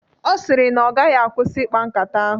Ọ sịrị na ọ gaghị akwụsị ikpa nkata ahụ